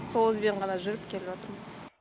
сол ізбен ғана жүріп келе жатырмыз